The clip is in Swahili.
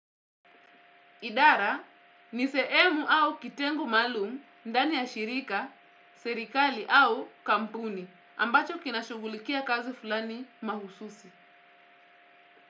Idara, ni sehemu au kitengo maalum, ndani ya shirika, serikali au kampuni, ambacho kinashughulikia kazi fulani mahususi.